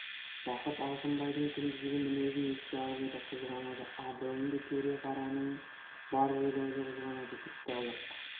жақып алшынбайдың күндізгі мінезін еске алып еді қызғанады абыройыңды төре-қараның бар жел-аузы қызғанады тіпті ұлық